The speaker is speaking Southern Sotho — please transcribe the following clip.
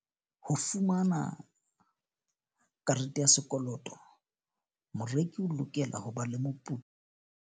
Ho fumana karete ya sekoloto, moreki o lokela ho ba le moputso.